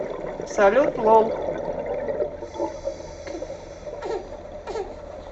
салют лол